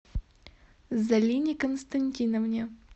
залине константиновне